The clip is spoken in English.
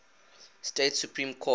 state supreme court